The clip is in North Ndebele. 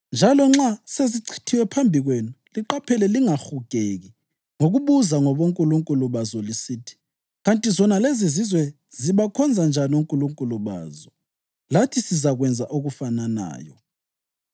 njalo nxa sezichithiwe phambi kwenu, liqaphele lingahugeki ngokubuza ngabonkulunkulu bazo lisithi, ‘Kanti zona lezizizwe zibakhonza njani onkulunkulu bazo? Lathi sizakwenza okufananayo.’